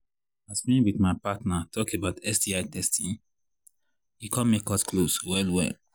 as me with my partner talk about sti testing e come make us close well well